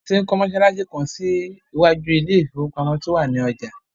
Wọ́n ti ń kọ́ mọsálásí kan sí iwájú ilé ìfowópamọ́ tí ó wà ní ọjà.